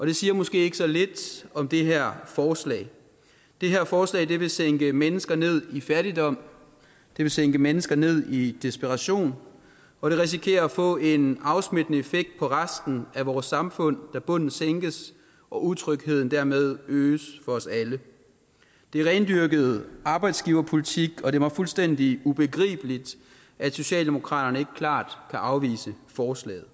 det siger måske ikke så lidt om det her forslag det her forslag vil sænke mennesker ned i fattigdom det vil sænke mennesker ned i desperation og det risikerer at få en afsmittende effekt på resten af vores samfund da bunden sænkes og utrygheden dermed øges for os alle det er rendyrket arbejdsgiverpolitik og det er mig fuldstændig ubegribeligt at socialdemokratiet klart kan afvise forslaget